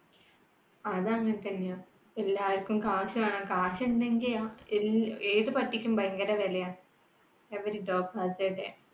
അത് അങ്ങനത്തന്ന്യാ എല്ലാവർക്കും കാശ് വേണം കാശുണ്ടെങ്കിൽ ഏത് പട്ടിക്കും ഭയങ്കര വിലയ. every dog has a day